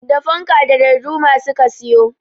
Da fanka da darduma su ka siyo.